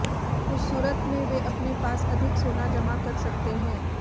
उस सूरत में वे अपने पास अधिक सोना जमा कर सकते हैं